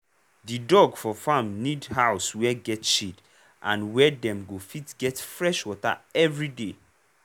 di dog for farm need house wey get shade and where dem go fit get fresh water everyday.